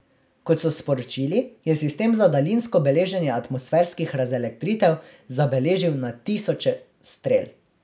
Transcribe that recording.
Kot so sporočili, je sistem za daljinsko beleženje atmosferskih razelektritev zabeležil na tisoče strel.